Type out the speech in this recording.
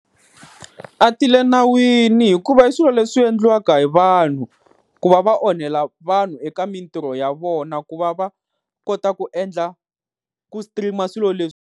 A ti le nawini hikuva i swilo leswi endliwaka hi vanhu, ku va va onhela vanhu eka mintirho ya vona ku va va kota ku endla ku stream-a swilo leswi.